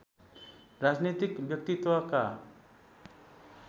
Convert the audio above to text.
राजनीतिक व्यक्तित्वका